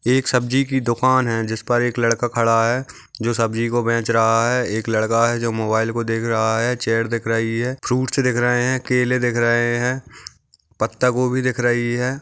एक सब्जी की दुकान है जिस पर एक लड़का खड़ा है जो सब्जी को बेच रहा है एक लड़का है जो मोबाइल को देख रहा है चेयर दिख रही है फ्रूट्स दिख रहे है केले देख रहे है पत्ता कोबी दिख रही है।